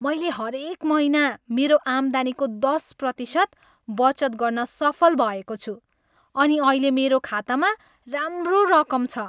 मैले हरेक महिना मेरो आम्दानीको दस प्रतिशत बचत गर्न सफल भएको छु अनि अहिले मेरो खातामा राम्रो रकम छ।